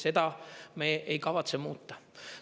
Seda me ei kavatse muuta.